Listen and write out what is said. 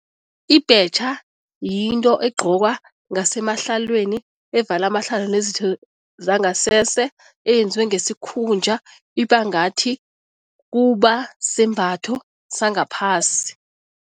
Ibhetjha yinto egqokwa ngasemahlelweni evela amahlalo nezitho zangasese, eyenziwe ngesikhunja. Iba ngathi kuba simbatho sangaphasi.